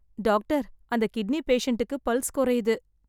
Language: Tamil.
டாக்டர் அந்த கிட்னி பேஷண்டுக்கு பல்ஸ் குறையுது.